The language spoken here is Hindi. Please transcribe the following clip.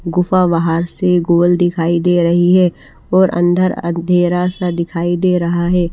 गुफा बाहर से गोल दिखाई दे रही है और अंदर अंधेरा सा दिखाई दे रहा है।